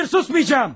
Xeyr, susmayacağım!